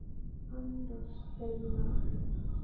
Anna Stella.